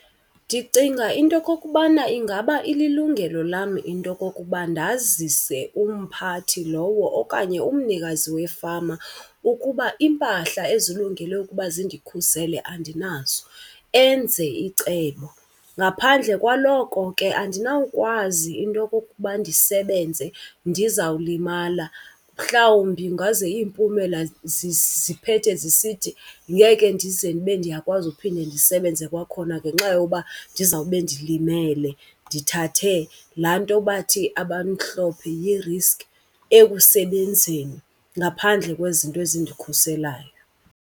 Ndicinga into okokubana ingaba ililungelo lam into yokokuba ndazise umphathi lowo okanye umnikazi wefama ukuba iimpahla ezilungele ukuba zindikhusele andinazo enze icebo. Ngaphandle kwaloko ke andinawukwazi into yokokuba ndisebenze ndizawulimala. Mhlawumbi ingaze iimpumela ziphethe zisithi ngeke ndize ndibe ndiyakwazi uphinde ndisebenze kwakhona ngenxa yoba ndizawube ndilimele, ndithathe laa nto bathi abamhlophe yi-risk, ekusebenzeni ngaphandle kwezinto ezindikhuselayo.